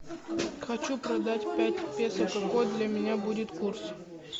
хочу продать пять песо какой для меня будет курс